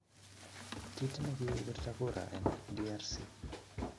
Kit negigipirto kura en DRC